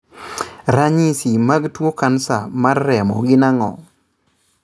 Ranyisi mag tuo kansa mar remo gin ang'o?